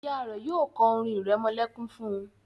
Ìyá rẹ yóò ko orin iremolekun fún.